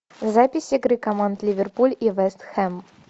запись игры команд ливерпуль и вест хэм